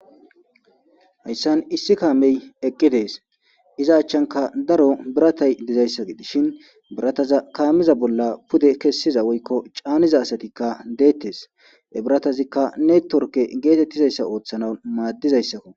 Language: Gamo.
Hayssan issi kaamey eqqi dees iza accan lanqen daro biratay dizaysa ,gidishin birataza kaameza bolla kessiza caaniza asatikka deettees,ha biratazikka neettiworke oothanaw maaddizaysakko.